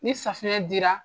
Ni safinɛ dira.